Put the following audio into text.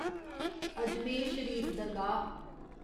Ajmer Sharif Dargah